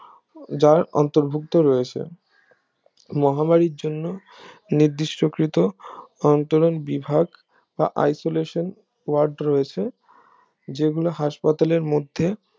যার অন্তর্ভুক্ত রয়েছে মহামারীর জন্য নির্দিষ্ট কৃত অন্তরঙ্গ বিভাগ বা isolation ward রয়েছে যেগুলো হাসপাতালের মধ্যে